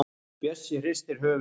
Bjössi hristir höfuðið.